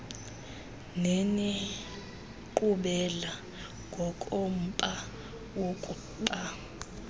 nenenkqubela ngokomba wokuba